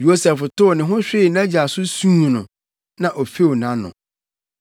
Yosef tow ne ho hwee nʼagya so suu no, na ofew nʼano.